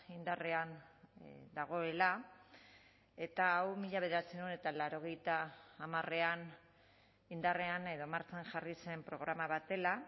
indarrean dagoela eta hau mila bederatziehun eta laurogeita hamarean indarrean edo martxan jarri zen programa bat dela